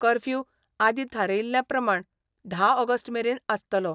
Curfew आदीं थारायिल्ले प्रमाण धा ऑगस्ट मेरेन आसतलो.